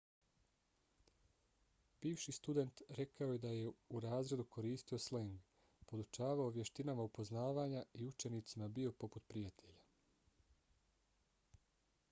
bivši student rekao je da je u razredu koristio sleng podučavao vještinama upoznavanja i učenicima bio poput prijatelja.